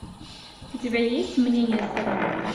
у тебя есть мнение сторон